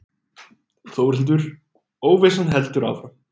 Þórhildur: Óvissan heldur áfram?